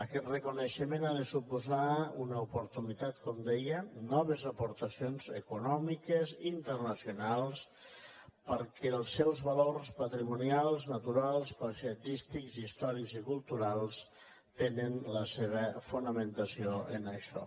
aquest reconeixement ha de suposar una oportunitat com deia noves aportacions econòmiques internaci·onals perquè els seus valors patrimonials naturals paisatgístics històrics i culturals tenen la seva fona·mentació en això